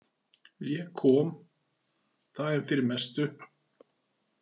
Ég kom, það er fyrir mestu.